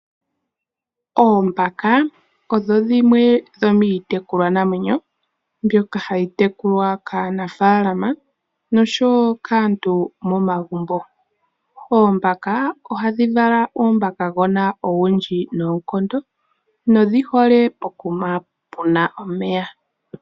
Oombaka odho dhimwe dho miitekulwa namwenyo mbyoka hayi tekulwa kaanafaalama nosho woo kaantu momagumbo. Oombaka ohadhi vala uumbakagona owundji noonkondo. Odhi hole pokuma puna omeya.